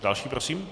Další prosím.